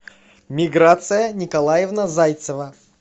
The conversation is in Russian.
миграция николаевна зайцева